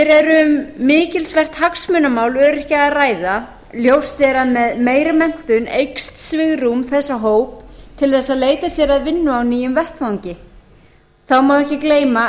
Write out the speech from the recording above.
hér er um mikilsvert hagsmunamál öryrkja að ræða ljóst er að með meiri menntun eykst svigrúm þessa hóps til þess að leita sér að vinnu á nýjum vettvangi þá má ekki gleyma